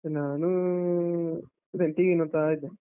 ನಾನೂ, ಅದೆ TV ನೋಡ್ತಾ ಇದ್ದೇನೆ.